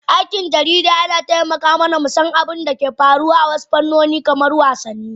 aikin jarida yana taimaka mana mu san abin da ke faruwa a wasu fannoni kamar wasanni.